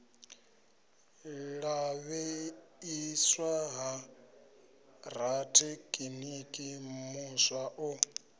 lavheieswa ha rathekiniki muswa o